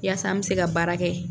Yasa an bɛ se ka baara kɛ.